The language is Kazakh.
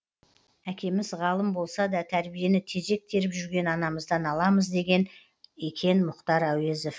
әкеміз ғалым болса да тәрбиені тезек теріп жүрген анамыздан аламыз деген екен мұқтар әуезов